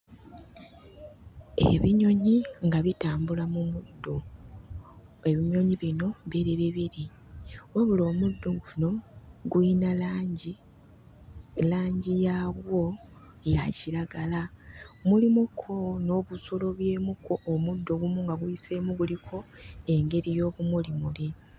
Ebinyonyi nga bitambula mu muddo. Ebinyonyi bino biri bibiri wabula omuddo guno guyina langi, langi yaagwo ya kiragala. Mulimukko n'obusooloobyemukko, omuddo ogumu nga guyiseemu guliko engeri y'obumulimuli.